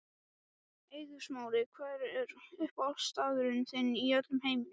Eiður Smári Hver er uppáhaldsstaðurinn þinn í öllum heiminum?